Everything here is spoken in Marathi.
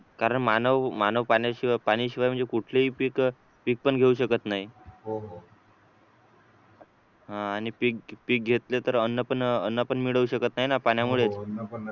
कारण मानव मानव पाण्याशिवाय म्हणजे कुठलेही पीक पीक पण घेऊ शकत नाही आह आणि पीक घेतले तर अन्न अन्न पण मिळू शकत नाही पाण्यामुळे